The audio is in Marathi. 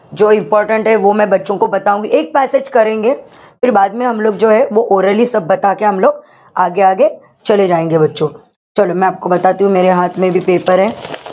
important passage orally paper ,